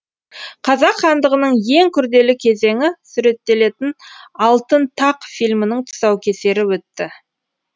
қазақ хандығының ең күрделі кезеңі суреттелетін алтын тақ фильмінің тұсаукесері өтті